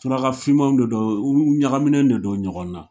Surakafinmaw de don, u ɲagaminen de don ɲɔgɔn na.